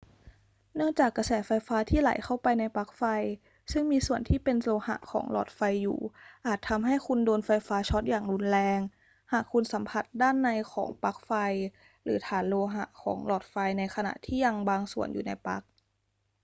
เนื่องจากกระแสไฟฟ้าที่ไหลเข้าไปในปลั๊กไฟซึ่งมีส่วนที่เป็นโลหะของหลอดไฟอยู่อาจทำให้คุณโดนไฟฟ้าช็อตอย่างรุนแรงหากคุณสัมผัสด้านในของปลั๊กไฟหรือฐานโลหะของหลอดไฟในขณะที่ยังบางส่วนอยู่ในปลั๊ก